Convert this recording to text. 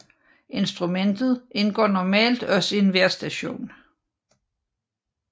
Instrumentet indgår normalt også i en vejrstation